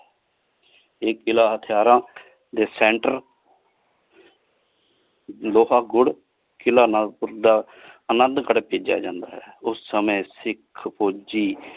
ਇਹ ਕਿਲਾ ਹਥਿਯਾਰਾਂ ਦੇ center ਲੋਹਾ ਗੁੜ ਕਿਲਾ ਨਾਗਪੁਰ ਦਾ ਅਨੰਦੁ ਗਢ਼ ਕੀਤਾ ਜਾਂਦਾ ਹੈ ਉਸ ਸਮਾਏ ਸਿਖ ਓਛੀ।